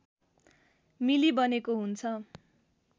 मिली बनेको हुन्छ